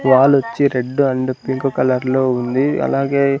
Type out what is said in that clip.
wall ఒచ్చి red and pink colour లో ఉంది అలాగే --